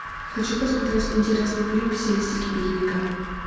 хочу посмотреть интересный фильм в стилистике боевика